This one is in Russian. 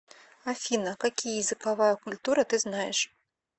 афина какие языковая культура ты знаешь